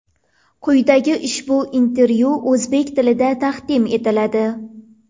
Quyida ushbu intervyu o‘zbek tilida taqdim etiladi.